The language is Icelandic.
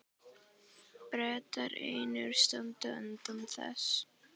Bretar einir standa utan þess.